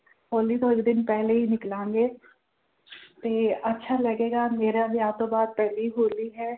ਹੋਲੀ ਤੋਂ ਇੱਕ ਦਿਨ ਪਹਿਲਾਂ ਹੀ ਨਿਕਲਾਂਗੇ ਤੇ ਅੱਛਾ ਲੱਗੇਗਾ ਮੇਰੇ ਵਿਆਹ ਤੋਂ ਬਾਅਦ ਪਹਿਲੀ ਹੋਲੀ ਹੈ।